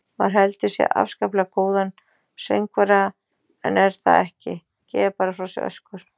Maður heldur sig afskaplega góðan söngvara en er það ekki, gefur bara frá sér öskur.